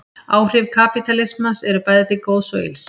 Áhrif kapítalismans eru bæði til góðs og ills.